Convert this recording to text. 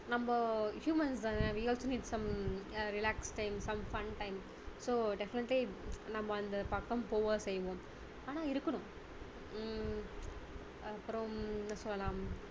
நம்ம humans தானே we also need some relaxed time some fun time so definitely நம்ம அந்த பக்கம் போக செய்வோம் ஆனா இருக்கணும் ஹம் அப்பறம் என்ன சொல்லலாம்